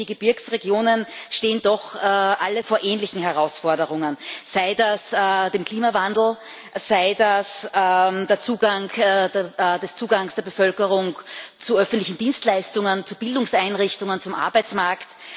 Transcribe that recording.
Aber ich denke, die Gebirgsregionen stehen doch alle vor ähnlichen Herausforderungen sei das der Klimawandel, oder der Zugang der Bevölkerung zu öffentlichen Dienstleistungen, zu Bildungseinrichtungen, zum Arbeitsmarkt.